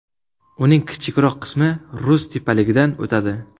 Uning kichikroq qismi Rus tepaligidan o‘tadi.